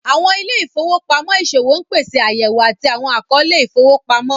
Awọn ìlẹ̀-ifowopamọ iṣowo n pèsè ayẹ̀wò àti awọn akọọ̀lẹ̀ ifowopamọ.